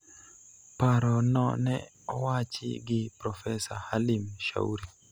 Paro no ne owachi gi Profesa Halim Shauri